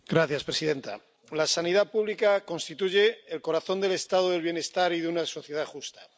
Señora presidenta, la sanidad pública constituye el corazón del estado de bienestar y de una sociedad justa.